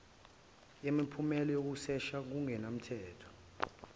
yimiphumela yokusesha ngokungemthetho